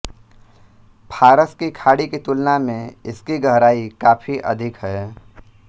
फ़ारस की खाड़ी की तुलना में इसकी गहराई काफी अधिक है